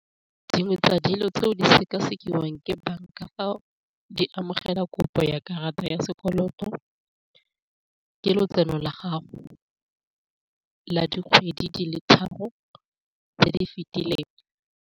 Dingwe tsa dilo tseo di sekasekiwang ke banka fa di amogela kopo ya karata ya sekoloto ke lotseno la gago la dikgwedi di le tharo tse di fetileng.